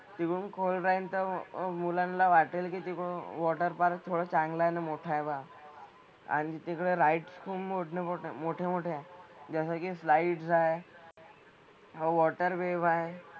Swimming खोल राहील तर अं मुलांना वाटेल की ते मग water park थोडं चांगलं न मोठं आहे पहा. आणि तिकडं rides खूप मोठ्यामोठ्या मोठ्यामोठ्या आहेत. जसं कि slides आहे, मग water wave आहे.